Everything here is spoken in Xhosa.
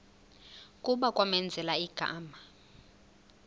kuba kwamenzela igama